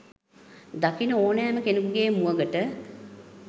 දකින ඕනෑම කෙනෙකුගේ මුවගට